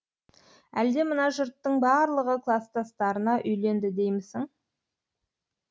әлде мына жұрттың барлығы кластастарына үйленді деймісің